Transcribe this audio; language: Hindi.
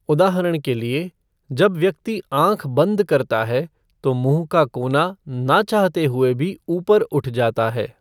उदाहरण के लिए, जब व्यक्ति आँख बंद करता है, तो मुँह का कोना ना चाहते हुए भी ऊपर उठ जाता है।